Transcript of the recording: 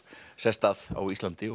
sest að á Íslandi